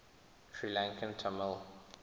sri lankan tamil